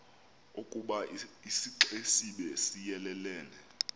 ukoba isixesibe siyelelene